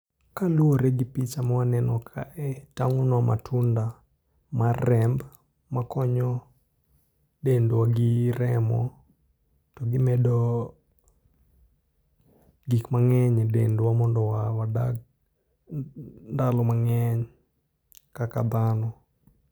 Kaluwore gi picha mwaneno kae, tang'onwa matunda mar remb, ma konyo dendwa gi remo, to gimedo gik mang'eny e dendwa mondo wa wadag ndalo mang'eny kaka dhano